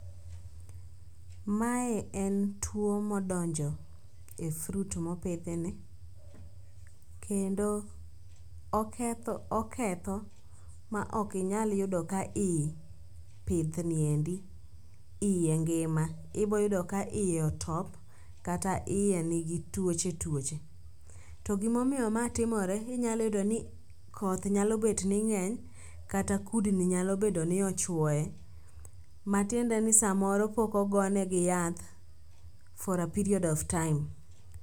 Mae en tuwo modonjo e fruit mopidhi ni, kendo oketho ma ok inyal yudo ka i pith ni endi, iye ngima. Iboyudo ka iye otop kata iye nigi tuoche tuoche. To gimomiyo ma timore, inyalo yudo ni koth nyalo bet ni ng'eny kata kudni nyalo bedo ni ochwoye. Matiende ni samoro pok ogonegi yath for a period of time.